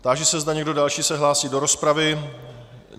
Táži se, zda někdo další se hlásí do rozpravy.